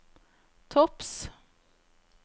topps